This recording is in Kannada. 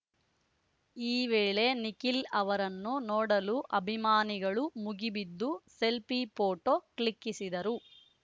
ಈ ವೇಳೆ ನಿಖಿಲ್‌ ಅವರನ್ನು ನೋಡಲು ಅಭಿಮಾನಿಗಳು ಮುಗಿಬಿದ್ದು ಸೆಲ್ಫಿ ಫೋಟೋ ಕ್ಲಿಕ್ಕಿಸಿದರು